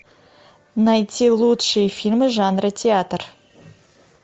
найти лучшие фильмы жанра театр